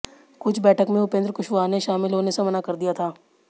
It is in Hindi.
इस बैठक में उपेंद्र कुशवाहा ने शामिल होने से मना कर दिया था